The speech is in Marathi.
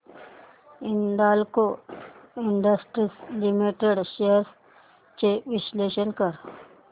हिंदाल्को इंडस्ट्रीज लिमिटेड शेअर्स चे विश्लेषण कर